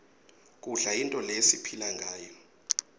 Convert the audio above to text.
kudla yinto lesiphilangayo